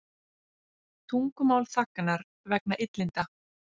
Tungumál þagnar vegna illinda